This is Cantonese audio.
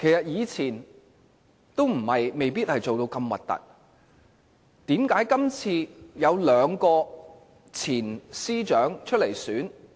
以前未必要做得如此難看，為何今次有兩位前司長出來參選？